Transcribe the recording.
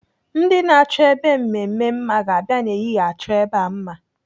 Ndị na-achọ ebe mmemme mma ga-abịa n'ehihie achọ ebe a mma.